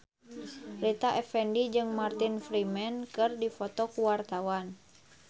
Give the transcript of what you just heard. Rita Effendy jeung Martin Freeman keur dipoto ku wartawan